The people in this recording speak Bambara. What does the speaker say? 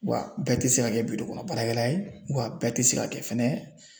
Wa bɛɛ tɛ se ka kɛ kɔnɔ baarakɛla ye wa bɛɛ tɛ se ka kɛ fɛnɛ.